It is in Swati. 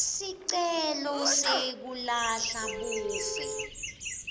sicelo sekulahla buve